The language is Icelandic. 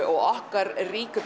og okkar ríku